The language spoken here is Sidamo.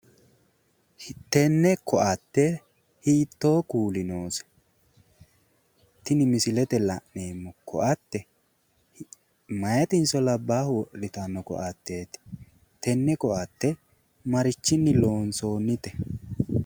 Tenne koatte hiittoo Kuuli noose? Tini misilete la'neemmo koatte meyatinso labbaahu wodhanno koatteeti? Tenne koatte marichinni loonsoonnite?